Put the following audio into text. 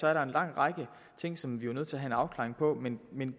er der en lang række ting som vi er nødt til have en afklaring på men med